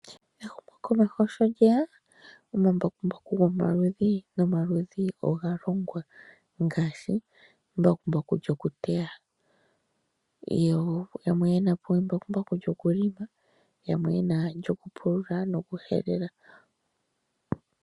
Ehumokomeho shi lyeya omambakumbaku gomaludhi nomaludhi oga longwa ngaashi embakumbaku lyokuteya, lyokulonga nolyoku helela.